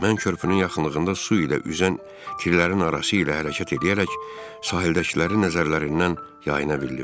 Mən körpünün yaxınlığında su ilə üzən killərin arası ilə hərəkət eləyərək sahildəkilərin nəzərlərindən yayına bildim.